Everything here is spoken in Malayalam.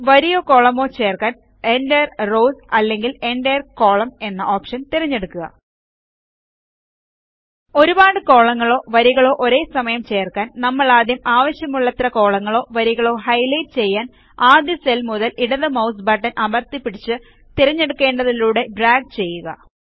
വരിയോ കോളമോ ചേർക്കാൻ എന്റിരെ റോവ് അല്ലെങ്കിൽ എന്റിരെ കോളം എന്ന ഓപ്ഷൻ തിരഞ്ഞെടുക്കുക ഒരുപാട് കോലങ്ങളോ വരികളോ ഒരേസമയം ചേർക്കാൻ നമ്മളാദ്യം ആവശ്യമുള്ളത്ര കോളങ്ങളോ വരികളോ ഹൈലൈറ്റ് ചെയ്യാൻ ആദ്യ സെൽ മുതൽ ഇടതു മൌസ് ബട്ടൺ അമർത്തിപിടിച്ചു തിരഞ്ഞെടുക്കെണ്ടതിലൂടെ ഡ്രാഗ് ചെയ്യുക